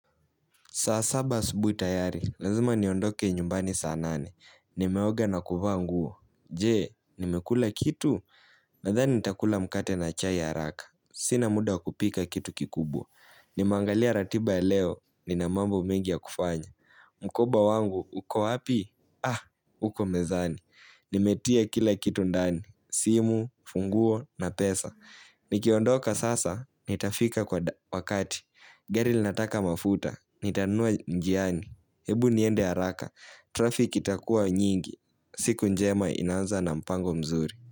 Saa saba asubuhi tayari, lazima niondoke nyumbani saa nane. Nimeoga na kuvaa nguo. Je, nimekula kitu? Nadhani nitakula mkate na chai ya haraka. Sina muda kupika kitu kikubwa. Nimeangalia ratiba ya leo, nina mambo mengi ya kufanya. Mkoba wangu, uko wapi? Ah, uko mezani. Nimetia kila kitu ndani. Simu, funguo, na pesa. Nikiondoka sasa, nitafika kwa wakati. Gari linataka mafuta. Nitanunua njiani Ebu niende haraka Traffic itakuwa nyingi siku njema inaanza na mpango mzuri.